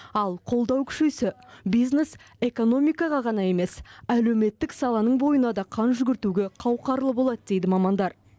ал қолдау күшейсе бизнес экономикаға ғана емес әлеуметтік саланың бойына да қан жүгіртуге қауқарлы болады дейді мамандар